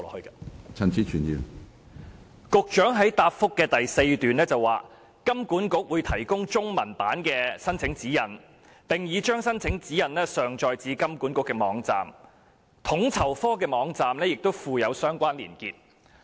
局長在主體答覆的第四段表示，"金管局會提供中文版的申請指引......並已將申請指引上載至金管局的網站......統籌科的網站亦已附有相關連結"。